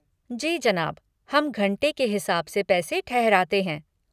जी जनाब, हम घंटे के हिसाब से पैसे ठहराते हैं।